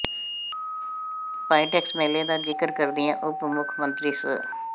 PITEX ਮੇਲੇ ਦਾ ਜਿਕਰ ਕਰਦਿਆਂ ਉੱਪ ਮੁੱਖ ਮੰਤਰੀ ਸ